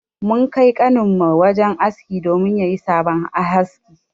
Mun Kai kanin mu wajen aski domin yayi sabon haski.